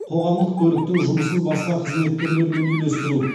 қоғамдық көліктің жұмысын басқа қызмет түрлерімен үйлестіру